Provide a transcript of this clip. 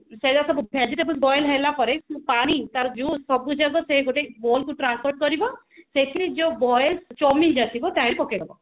ସେଟା ସବୁ vegetables boil ହେଲା ପରେ ତାର ପାଣି ତାର juice ସବୁଯାକ ସେ ଗୋଟେ bowl କୁ transfer କରିବ ସେଥିରେ ଯୋଉ boil chow mean ଜା ଥିବ ତା ଦିହରେ ପକେଇଦେବ